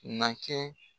Na kɛ